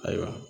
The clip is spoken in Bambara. Ayiwa